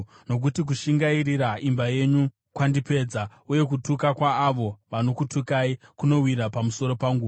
nokuti kushingairira imba yenyu kwandipedza, uye kutuka kwaavo vanokutukai kunowira pamusoro pangu.